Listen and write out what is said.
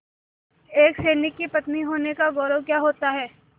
एक सैनिक की पत्नी होने का गौरव क्या होता है